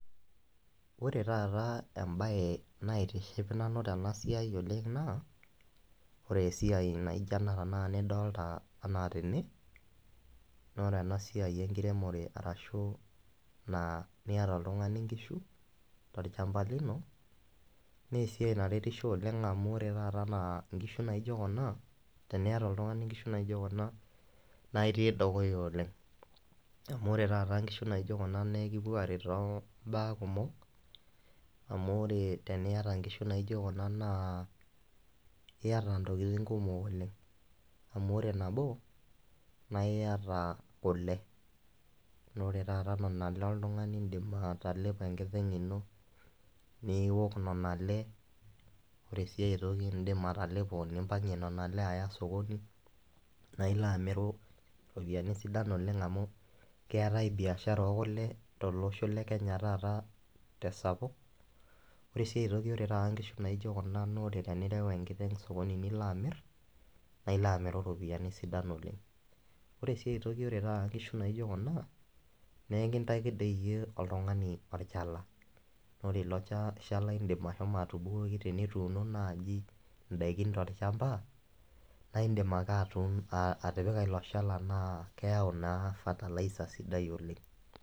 Ore taata embae naitiship nanu tenasiai oleng na ore esiai naijo ena tanakata nidolita ana tene, na ore enasiai enkiremore arashu niata oltungani nkishu tolchamba lino na keretisho amu ore taata anaa nkishu naijo kuna, tenijo oltungani aata nkishu naijo kuna na itii dukuya oleng, amu ore nai nkishu naijo kuna na ekipuo aret tombaa kumol amu ore teniata nkishu naijo kuna na iata ntokitin kumok oleng amu ore nabo na iata kule na ore taa nona ale na indim oltungani atelepo inakiteng ino niwok nona aale, ore si aitoki indim atalepo nimpangie nonaalebaya osokoni na ilo amiru ropiyani kumok oleng amu keetae biashara ekule tolosho le kenya letaata tesapuk, ore si taata na tenireu enkiteng osokoni nilo amir na ilobamiru ropiyani kumok oleng, ore si aitoki na ore nkishu naijo kuna na ekintaki toi iyie oltungani olchala ore ilo shala indim ashomo atubukuko tenituuno naji ndakin tolchamba na indimbake atipika ilobshala na keyau na fertiliser sidai oleng